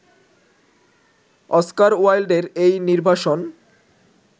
Oscar ওয়াইল্ডের এই নির্বাসন